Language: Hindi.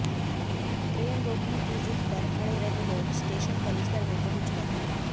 ट्रेन रोकने की जिद्द पर अड़े रहे लोग स्टेशन परिसर में पहुंच गए